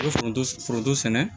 foronto foronto sɛnɛ